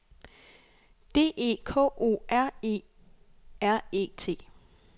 D E K O R E R E T